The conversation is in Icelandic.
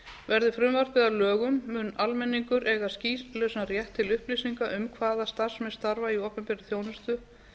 verði frumvarpið að lögum mun almenningur eiga skýlausan rétt til upplýsinga um hvaða starfsmenn starfa í opinberri þjónustu hver